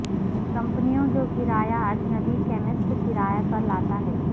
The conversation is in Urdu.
کمپنیوں جو کرایہ اجنبی کیمسٹ کرایہ پر لاتا ہے